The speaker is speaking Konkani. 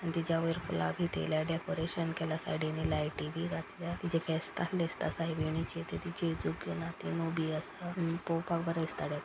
आनी तीच्या वयर फूला बि थेयल्या डेकोरेशन केला सायडीनी लायटी बी घातल्या तीजे फेस्त आसले दिस्ता सायबिणिचे ती जेजुक घेवन हाथीन उभी आसा आनी पोवपाक बरे दिस्ता डे --